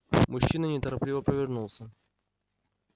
мужчина неторопливо повернулся